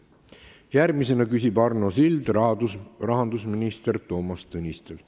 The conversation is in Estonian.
Järgmisena küsib Arno Sild rahandusminister Toomas Tõnistelt.